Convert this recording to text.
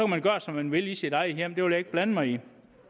man gøre som man vil i sit eget hjem det vil jeg ikke blande mig i